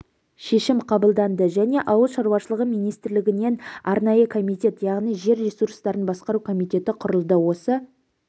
шешім қабылданды және ауыл шаруашылығы министрлігінен арнайы комитет яғни жер ресурстарын басқару комитеті құрылды осы